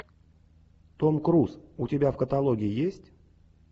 том круз у тебя в каталоге есть